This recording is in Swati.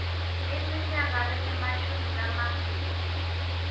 iminyaka lengemashumi lamabili